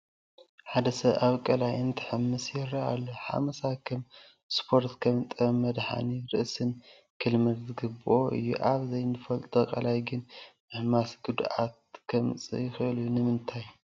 ሓደ ሰብ ኣብ ቀላይ እንትሕምስ ይርአ ኣሎ፡፡ ሓመሳ ከም እስፖርትን ከም ጥበብ መድሓኒ ርእስን ክልመድ ዝግብኦ እዩ፡፡ ኣብ ዘይትፈልጦ ቀላይ ግን ምሕማስ ግን ጉድኣት ከምፅእ ይኽእል እዩ፡፡ ንምንታይ?